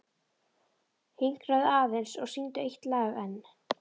Hinkraðu aðeins og syngdu eitt lag enn.